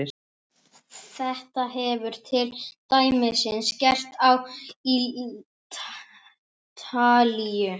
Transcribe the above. Þetta hefur til dæmis gerst á Ítalíu.